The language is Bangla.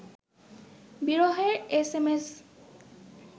বিরহের এস এম এস